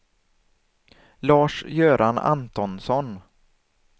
Lars-Göran Antonsson